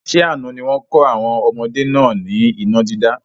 Ṣé àna ni wọn kọ́ àwọn ọmọdé náà ni iná dídá?